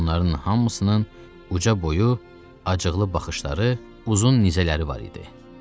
Onların hamısının uca boyu, acıqlı baxışları, uzun nizələri var idi.